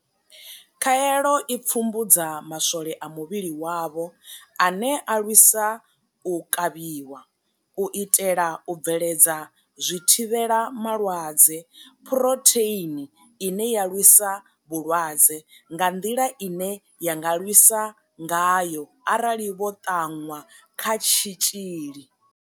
Khaelo i pfumbudza maswole a muvhili wavho ane a lwisa u kavhiwa, u itela u bveledza zwithivhelama lwadze Phurotheini ine ya lwisa vhulwadze, nga nḓila ine ya nga lwisa ngayo arali vho ṱanwa kha tshitzhili.